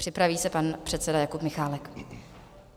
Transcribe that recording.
Připraví se pan předseda Jakub Michálek.